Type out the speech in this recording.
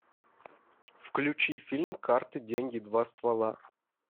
включи фильм карты деньги два ствола